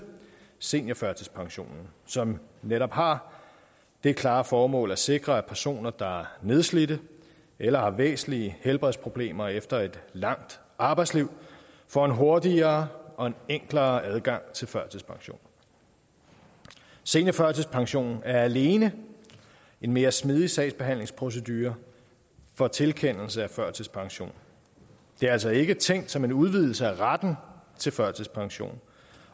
seniorførtidspensionen som netop har det klare formål at sikre at personer der er nedslidte eller har væsentlige helbredsproblemer efter et langt arbejdsliv får en hurtigere og en enklere adgang til førtidspension seniorførtidspension er alene en mere smidig sagsbehandlingsprocedure for tilkendelse af førtidspension det er altså ikke tænkt som en udvidelse af retten til førtidspension